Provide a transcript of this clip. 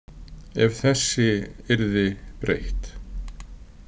Ef þessi yrði breytt.